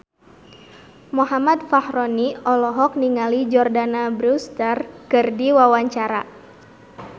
Muhammad Fachroni olohok ningali Jordana Brewster keur diwawancara